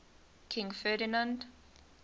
king ferdinand